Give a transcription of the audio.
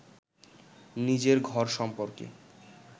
নিজের ঘর সম্পর্কে